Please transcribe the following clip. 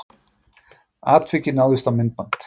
Atvikið náðist á myndband